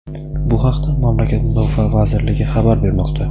Bu haqda mamlakat Mudofaa vazirligi xabar bermoqda.